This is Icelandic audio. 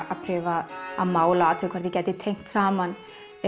að prufa að mála athuga hvort ég gæti tengt saman